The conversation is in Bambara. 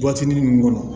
ninnu kɔnɔ